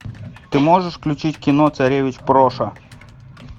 ты можешь включить кино царевич проша